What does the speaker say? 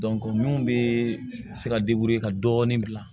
min bɛ se ka ka dɔɔnin bila